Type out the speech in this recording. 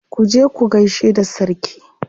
Ku je ku gaishe da sarki.